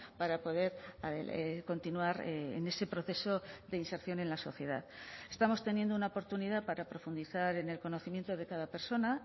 para poder continuar en ese proceso de inserción en la sociedad estamos teniendo una oportunidad para profundizar en el conocimiento de cada persona